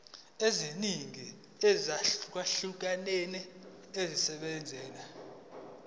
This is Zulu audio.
eziningi ezahlukahlukene esebenzisa